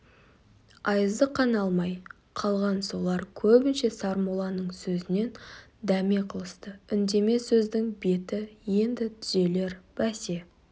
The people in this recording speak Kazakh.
айызы қана алмай қалған солар көбінше сармолланың сөзінен дәме қылысты үндеме сөздің беті енді түзелер бәсе